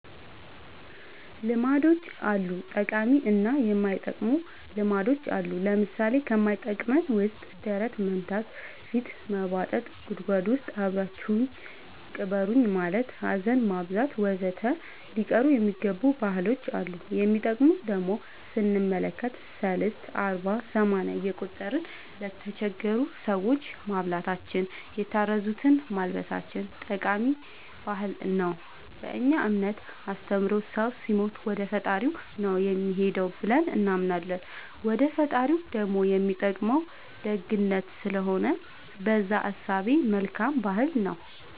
ልማዶች አሉ ጠቃሚ እና የማይጠቅሙ ልማዶች አሉን ለምሳሌ ከማይጠቅመን ውስጥ ደረት መምታ ፊት መቦጠጥ ጉድጎድ ውስጥ አብራችሁኝ ቅበሩኝ ማለት ሀዘን ማብዛት ወዘተ ሊቀሩ የሚገባ ባህሎች አሉ የሚጠቅሙን ደሞ ስንመለከት ሰልስት አርባ ሰማንያ እየቆጠርን ለተቸገሩ ሰዎች ማብላታችን የታረዙትን ማልበሳችን ጠቃሚ ባህል ነው በእኛ እምነት አስተምሮ ሰው ሲሞት ወደፈጣሪው ነው የሚሄደው ብለን እናምናለን ወደ ፈጣሪው ደሞ የሚጠቅመው ደግነት ስለሆነ በእዛ እሳቤ መልካም ባህል ነው